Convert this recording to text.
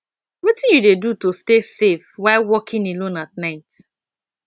wetin you dey do to stay safe while walking alone at night